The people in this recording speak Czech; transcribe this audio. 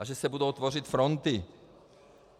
A že se budou tvořit fronty.